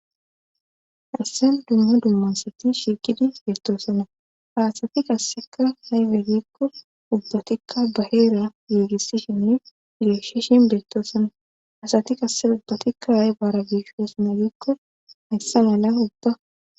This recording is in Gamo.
Haysan dumma dumma asati shiikidi bettoosana haasati kassekka haybegikko ubbatikka ba heera giigissishinne igeeshishin deettoosanna asati kasse ubbatikka a bara biishosmagikko heyssa mala ubba